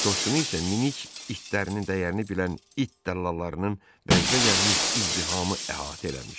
Qoşqunu isə minik itlərinin dəyərini bilən it dəllallarının vəcdə gəlmiş izdihamı əhatə eləmişdi.